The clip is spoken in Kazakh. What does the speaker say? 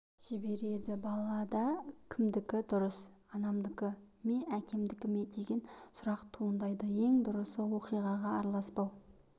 жібереді балада кімдікі дұрыс анамдікі ме әкемдіке ме деген сұрақ туындайды ең дұрысы оқиғаға араласпау